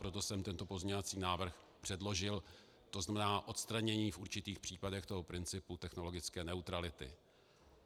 Proto jsem tento pozměňovací návrh předložil, to znamená odstranění v určitých případech toho principu technologické neutrality.